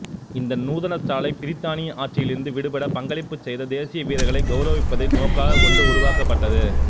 இந்த நூதனசாலை பிரித்தானிய ஆட்சியிலிருந்து விடுபட பங்களிப்புச் செய்யத தேசிய வீரர்களை கௌரவிப்பதை நோக்காகக் கொண்டு உருவாக்கப்பட்டது